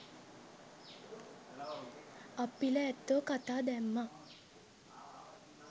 අප්පිල ඇත්තෝ කතා දැම්මා